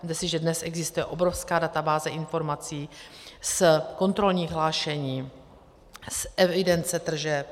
Vezměte si, že dnes existuje obrovská databáze informací z kontrolních hlášení, z evidence tržeb.